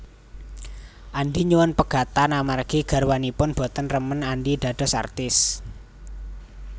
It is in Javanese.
Andi nyuwun pegatan amargi garwanipun boten remen Andi dados artis